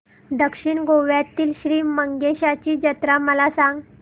दक्षिण गोव्यातील श्री मंगेशाची जत्रा मला सांग